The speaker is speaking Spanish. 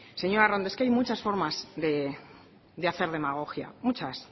señora arrondo es que hay muchas forma de hacer demagogia muchas